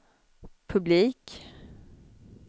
publik